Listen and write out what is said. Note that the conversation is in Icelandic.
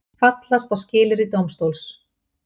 Fallast á skilyrði dómstóls